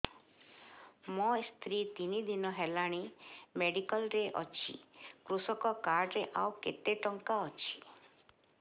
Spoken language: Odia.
ମୋ ସ୍ତ୍ରୀ ତିନି ଦିନ ହେଲାଣି ମେଡିକାଲ ରେ ଅଛି କୃଷକ କାର୍ଡ ରେ ଆଉ କେତେ ଟଙ୍କା ଅଛି